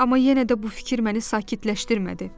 Amma yenə də bu fikir məni sakitləşdirmədi.